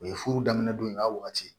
O ye furu daminɛ don in a wagati